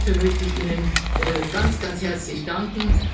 Hierfür möchte ich Ihnen ganz, ganz herzlich danken.